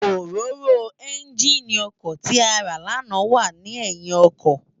Óróró ènjiní òkò ti àrá làná wà ni èyín òkò